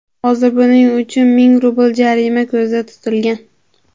Hozir buning uchun ming rubl jarima ko‘zda tutilgan.